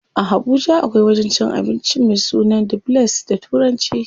A Habuja akwai wajen cin abincin me sunan The place da turanci.